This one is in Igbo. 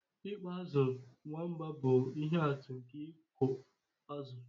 Ịkpa azụ̀ nwamba bụ ihe atụ nke ịkụ azụ̀